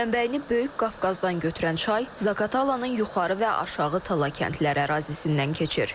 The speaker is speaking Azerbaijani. Mənbəyini böyük Qafqazdan götürən çay Zaqatalanın yuxarı və aşağı Tala kəndləri ərazisindən keçir.